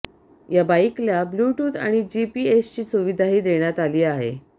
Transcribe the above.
या बाईकला ब्ल्यूटय़ूथ आणि जीपीएसची सुविधाही देण्यात आली आहे